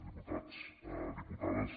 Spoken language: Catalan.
diputats diputades